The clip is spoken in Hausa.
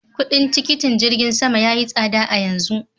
Kuɗin tikitin jirgin sama ya yi tsada a yanzu.